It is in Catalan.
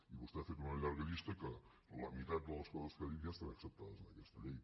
i vostè ha fet una llarga llista que la meitat de les coses que ha dit ja estan acceptades en aquesta llei